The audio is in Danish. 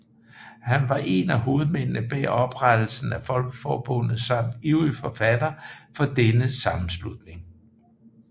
Han var en af hovedmændene bag oprettelsen af Folkeforbundet samt ivrig fortaler for denne sammenslutning